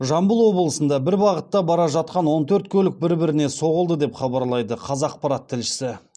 жамбыл облысында бір бағытта бара жатқан он төрт көлік бір біріне соғылды деп хабарлайды қазақпарат тілшісі